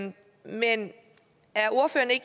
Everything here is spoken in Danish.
der er